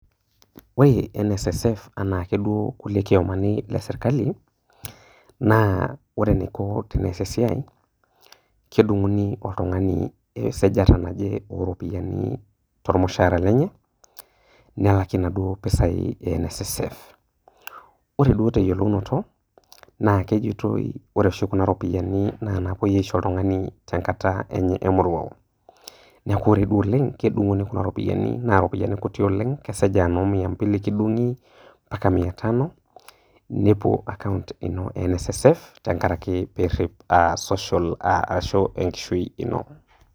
Ore NSSF anake duo kulie kiomani le sirkali, naa ore enaiko tenias esiai, kedunguni oltungani esajata oropiyiani tormushaara lenye nelakie inaduoo ropiyiani e NSSF.Ore duo teyiolounoto naa kejitoi ore oshi kuna ropiyiani naa naponuni aisho oltungani tenkata enye emoruao . Niaku ore duo oleng naa kedunguni kuna ropiyiani naa ropiyiani kuti oleng ,kesej aa mia mbili kidunguni , mpaka mia tano, nepuo account ino e NSSF tenkaraki pirip social arashu a enkishui ino.